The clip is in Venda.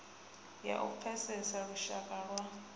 ya u pfesesa lushaka lwa